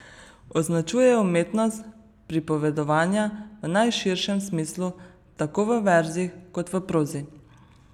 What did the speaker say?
Označuje umetnost pripovedovanja v najširšem smislu, tako v verzih kot v prozi.